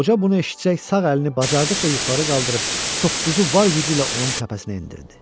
Qoca bunu eşidincə sağ əlini bacardıqca yuxarı qaldırıb toppuzu var gücü ilə onun təpəsinə endirdi.